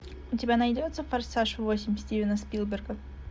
у тебя найдется форсаж восемь стивена спилберга